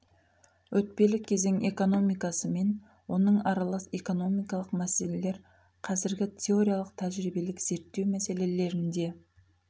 өтпелі кезең экономиясы мен оның аралас экономикалық мәселелер қазіргі теориялық тәжірибелік зертеу мәселелерінде